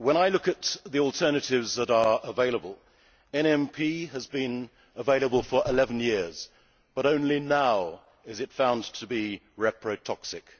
Look at the alternatives that are available NMP has been available for 11 years, but only now is found to be reprotoxic